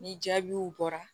Ni jaabiw bɔra